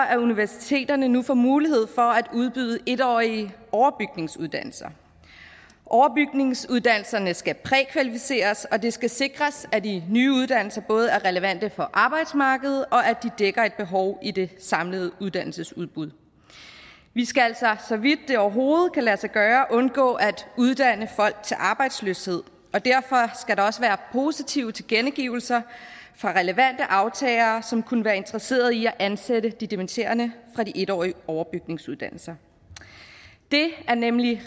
at universiteterne nu får mulighed for at udbyde en en årige overbygningsuddannelser overbygningsuddannelserne skal prækvalificeres og det skal sikres at de nye uddannelser både er relevante for arbejdsmarkedet og at de dækker et behov i det samlede uddannelsesudbud vi skal så vidt det overhovedet kan lade sig gøre undgå at uddanne folk til arbejdsløshed og derfor skal der også være positive tilkendegivelser fra relevante aftagere som kunne være en interesseret i at ansætte de dimitterende fra de en årige overbygningsuddannelser det er nemlig